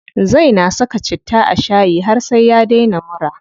Zai na saka citta a shayi har sai ya daina mura.